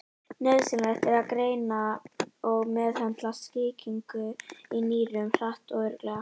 Nauðsynlegt er að greina og meðhöndla sýkingu í nýrum hratt og örugglega.